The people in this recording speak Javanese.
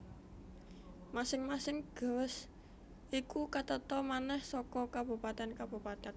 Masing masing gewest iku katata manèh saka kabupatèn kabupatèn